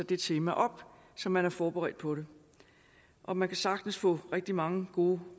det tema op så man er forberedt på det og man kan sagtens få rigtig mange gode